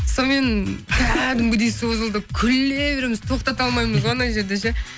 сонымен кәдімгідей созылды күле береміз тоқтата алмаймыз ғой анау жерде ше